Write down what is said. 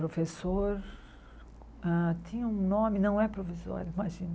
Professor hã tinha um nome, não é provisório, imagina.